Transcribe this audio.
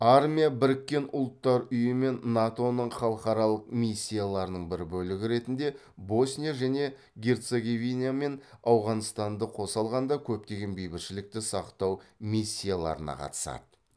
армия біріккен ұлттар ұйымы мен нато ның халықаралық миссияларының бір бөлігі ретінде босния және герцеговина мен ауғанстанды қоса алғанда көптеген бейбітшілікті сақтау миссияларына қатысады